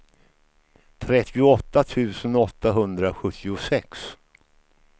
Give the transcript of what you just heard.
trettioåtta tusen åttahundrasjuttiosex